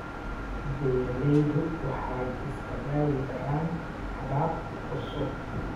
Beeraleydu waxay isku dayi karaan habab cusub.